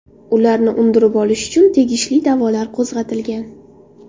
Ularni undirib olish uchun tegishli da’volar qo‘zg‘atilgan.